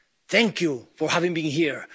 friends. Thank you for having been